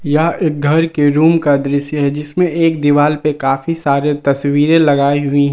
यह एक घर के रूम का दृश्य है जिसमें एक दीवाल पे काफी सारे तस्वीरें लगाई हुई--